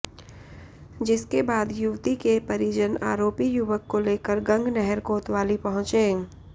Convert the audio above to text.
जिसके बाद युवती के परिजन आरोपी युवक को लेकर गंगनहर कोतवाली पहुंचे